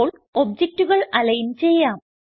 ഇപ്പോൾ ഒബ്ജക്റ്റുകൾ അലിഗ്ൻ ചെയ്യാം